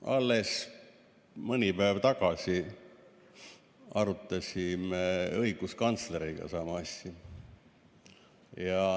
Alles mõni päev tagasi arutasime õiguskantsleriga samu asju.